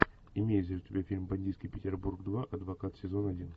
имеется ли у тебя фильм бандитский петербург два адвокат сезон один